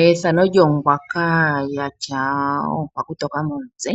Ethano lyongwaka ya tya oonkwakutoka momutse